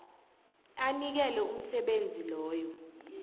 anikele umsebenzi loyo